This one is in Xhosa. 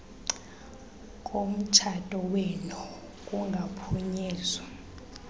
komtshato wenu kungaphunyezwa